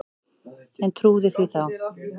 En trúði því þá.